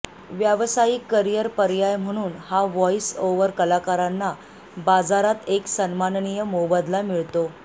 व्यावसायिक करिअर पर्याय म्हणून या व्हॉईस ओव्हर कलाकारांना बाजारात एक सन्माननीय मोबदला मिळतो